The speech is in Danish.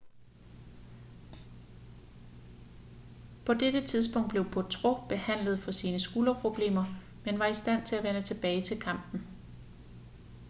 på dette tidspunkt blev potro behandlet for sine skulderproblemer men var i stand til at vende tilbage til kampen